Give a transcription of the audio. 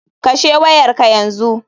Kashe wayar ka yanzu.